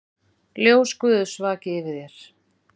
Ljós Guðs vaki yfir þér.